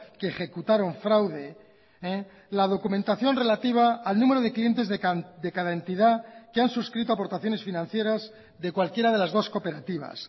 que ejecutaron fraude la documentación relativa al número de clientes de cada entidad que han suscrito aportaciones financieras de cualquiera de las dos cooperativas